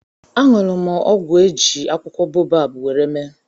añụrụ m ọgwụ a eji akwụkwọ boabab nwere mee